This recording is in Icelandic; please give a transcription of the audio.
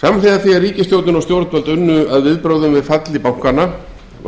samhliða því að ríkisstjórnin og stjórnvöld unnu að viðbrögðum við falli bankanna